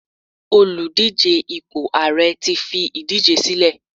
Oludije ipo ààrẹ ti fi idije sílẹ